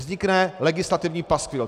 Vznikne legislativní paskvil.